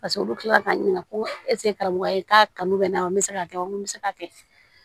Paseke olu kila k'a ɲininka ko karamɔgɔya ye k'a kanu bɛ n na wa n bɛ se k'a kɛ n ko n bɛ se k'a kɛ